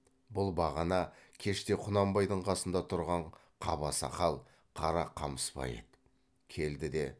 бұл бағана кеште құнанбайдың қасында тұрған қаба сақал қара қамысбай еді келді де